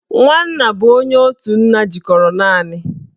Nwanna bụ onye otu nna jikọrọ naanị